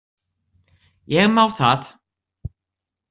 Ég má það.